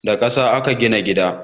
Da ƙasa aka gina gidan